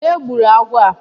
Onye gburu agwọ á?